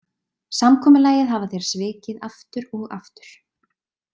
Samkomulagið hafa þeir svikið aftur og aftur.